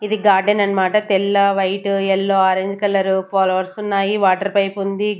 ఇది గార్డెన్ అన్నమాట తెల్ల white yellow orange colour flowers ఉన్నాయి వాటర్ పైప్ ఉంది.